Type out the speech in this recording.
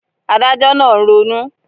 Adájọ́ náà ń ronú